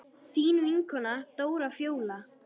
Þín vinkona Dóra Fjóla.